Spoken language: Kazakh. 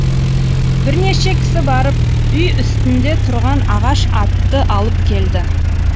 бірнеше кісі барып үй үстінде тұрған ағаш атты алып келді